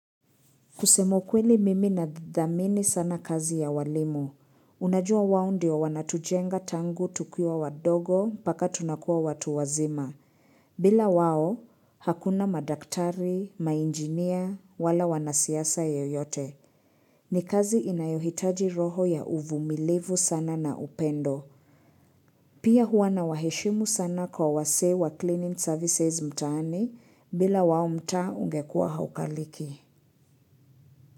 Kusema ukweli mimi nathamini sana kazi ya walimu. Unajua wao ndio wanatujenga tangu tukiwa wadogo mpaka tunakuwa watu wazima. Bila wao, hakuna madaktari, mainjinia, wala wanasiasa yeyote. Ni kazi inayohitaji roho ya uvumilivu sana na upendo. Pia huwa nawaheshimu sana kwa wasee wa cleaning services mtaani bila wao mtaa ungekuwa haukaliki.